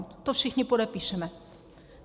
To všichni podepíšeme.